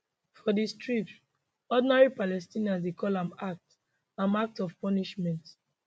for di strip ordinary palestinians dey call am act am act of punishment